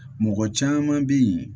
Mɔgɔ caman bɛ yen